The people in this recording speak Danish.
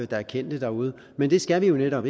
der er kendt derude men det skal vi jo netop